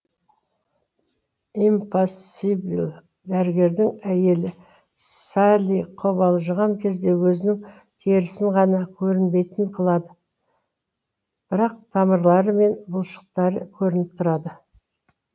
импосибл дәрігердің әйелі салли қобалжыған кезде өзінің терісін ғана көрінбейтін қылады бірақ тамырлары мен бұлшықтары көрініп тұрады